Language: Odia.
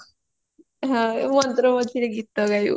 ହଁ ଏଇ ମନ୍ତ୍ର ମଝିରେ ଗୀତ ଗାଇବ